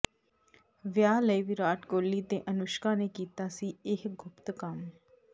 ਵਿਆਹ ਲਈ ਵਿਰਾਟ ਕੋਹਲੀ ਤੇ ਅਨੁਸ਼ਕਾ ਨੇ ਕੀਤਾ ਸੀ ਇਹ ਗੁਪਤ ਕੰਮ